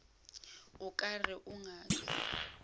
o ka re o ngaka